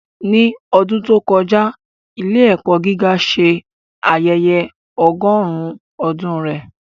Ní ọdún tó kọjá, ilé-ẹ̀kọ́ gíga ṣe ayẹyẹ ọgọ́rùn-ún ọdún rẹ̀.